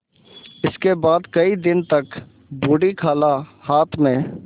इसके बाद कई दिन तक बूढ़ी खाला हाथ में